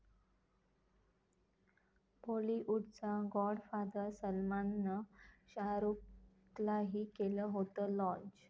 बाॅलिवूडचा godfather सलमाननं शाहरुखलाही केलं होतं लाँच